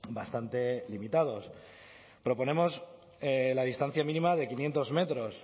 bastante limitados proponemos la distancia mínima de quinientos metros